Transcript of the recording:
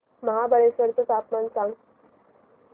महाबळेश्वर चं तापमान सांग